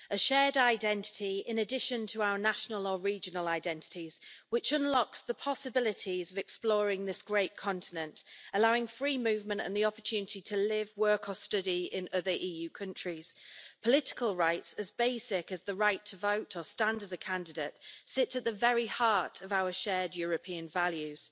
It is a shared identity in addition to our national or regional identities which unlocks the possibilities of exploring this great continent, allowing free movement and the opportunity to live, work and study in other EU countries. Political rights as basic as the right to vote or stand as a candidate sit at the very heart of our shared European values.